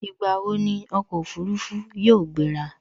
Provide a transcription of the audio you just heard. Ìgbà wo ni ọkọ̀ Òfurufú yóò gbera